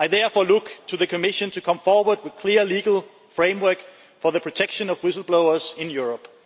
I therefore look to the Commission to come forward with a clear legal framework for the protection of whistleblowers in Europe.